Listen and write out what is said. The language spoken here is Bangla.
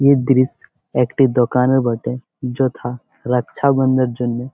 এ দৃশ একটি দোকানের বটে যথা রকছা বন্ধের জন্যে ।